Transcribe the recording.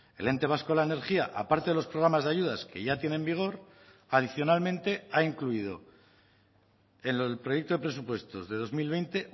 el ente vasco de la energía aparte de los programas de ayudas que ya tiene en vigor adicionalmente ha incluido en el proyecto de presupuestos de dos mil veinte